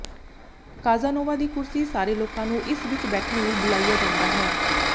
Casanova ਦੀ ਕੁਰਸੀ ਸਾਰੇ ਲੋਕਾਂ ਨੂੰ ਇਸ ਵਿਚ ਬੈਠਣ ਲਈ ਬੁਲਾਇਆ ਜਾਂਦਾ ਹੈ